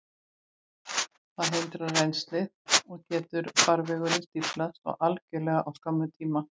Þá hindrast rennslið, og getur farvegurinn stíflast algjörlega á skömmum tíma.